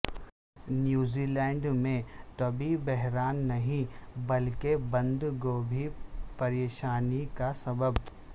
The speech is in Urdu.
نیوزی لینڈ میں طبی بحران نہیں بلکہ بند گوبھی پریشانی کا سبب